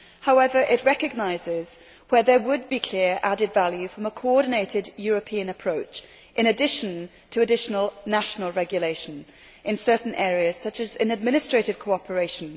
However, it recognises where there would be clear added value from a coordinated European approach, in addition to additional national regulation in certain areas, such as in administrative cooperation.